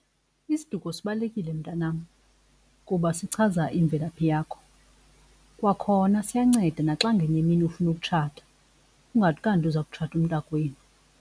Isiduko sibalulekile mntanam kuba sichaza imvelaphi yakho. Kwakhona siyanceda naxa ngenye imini ufuna ukutshata kungathi kanti uza kutshata umntakwenu.